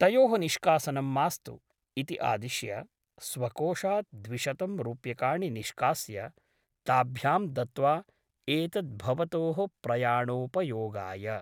तयोः निष्कासनं मास्तु इति आदिश्य स्वकोषात् द्विशतं रूप्यकाणि निष्कास्य ताभ्यां दत्त्वा एतत् भवतोः प्रयाणोपयोगाय ।